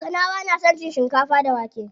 Kanawa na son cin shikafa da wake.